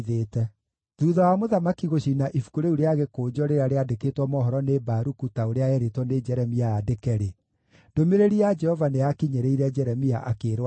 Thuutha wa mũthamaki gũcina ibuku rĩu rĩa gĩkũnjo rĩrĩa rĩandĩkĩtwo mohoro nĩ Baruku ta ũrĩa eerĩtwo nĩ Jeremia andĩke-rĩ, ndũmĩrĩri ya Jehova nĩyakinyĩrĩire Jeremia, akĩĩrwo atĩrĩ: